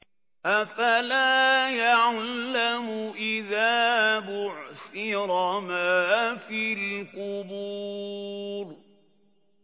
۞ أَفَلَا يَعْلَمُ إِذَا بُعْثِرَ مَا فِي الْقُبُورِ